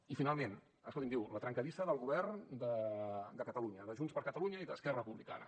i finalment escolti’m diu la trencadissa del govern de catalunya de junts per catalunya i d’esquerra republicana